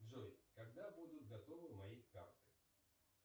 джой когда будут готовы мои карты